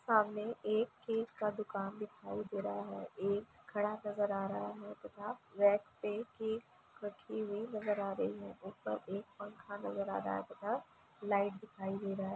सामने एक केक का दुकान दिखाई दे रहा है। एक खड़ा नज़र आ रहा है तथा पे केक कटी हुई नज़र आ रही है। ऊपर एक पंखा नज़र आ रहा है तथा लाइट दिखाई दे रहा है।